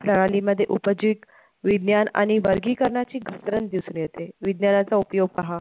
प्रणाली मध्ये उपजिक विज्ञान आणि वर्गीकरणाची घसरण दिसून येते, विज्ञानाचा उपयोग पहा